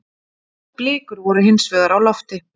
Blikur voru hinsvegar á lofti.